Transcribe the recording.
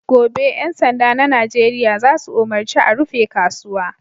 Gobe, ƴan sanda na Nijeriya za su umarci a rufe kasuwa!"